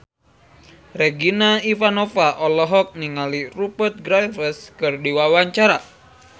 Regina Ivanova olohok ningali Rupert Graves keur diwawancara